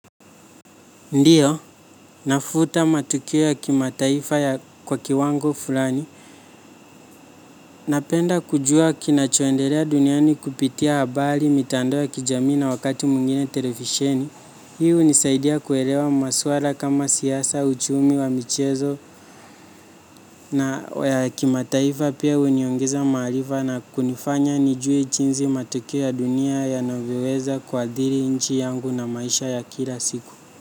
Ndiyo, nafuta matukio ya kimataifa ya kwa kiwango fulani. Napenda kujua kinachoendelea duniani kupitia habari mitandao ya kijamii na wakati mwingine televisheni. Hii hunisaidia kuelewa masuala kama siasa uchumi wa michezo na ya kimataifa pia huniongeza maarifa na kunifanya nijue jinsi matukio ya dunia yanavyoweza kuadhiri nchi yangu na maisha ya kila siku.